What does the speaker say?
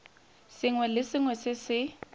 sengwe le sengwe se se